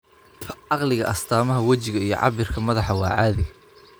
Caqliga, astaamaha wejiga iyo cabbirka madaxa waa caadi.